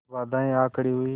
बाधाऍं आ खड़ी हुई